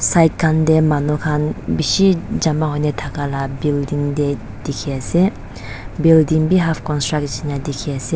side khan dey manu khan bishi jama hoi ne thaka la building dey dikhiase building bi half construct nishina dikhiase.